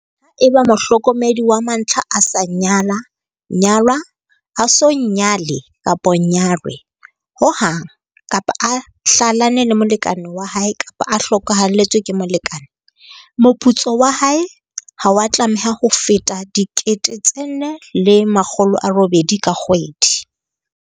Haeba mohlokomedi wa mantlha a sa nyala-nyalwa, a so nyale-nyalwe ho hang, kapa a hlalane le molekane wa hae kapa a hlokahalletswe ke molekane, moputso wa hae ha wa tlameha ho feta R4 800 ka kgwedi.